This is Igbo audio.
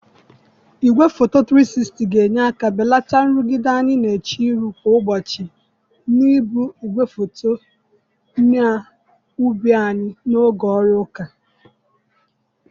Igwefoto 360 ga-enyere aka belata nrụgide anyị na-eche ihu kwa ụbọchị na-ebu igwefoto n'ubu anyị n'oge ọrụ ụka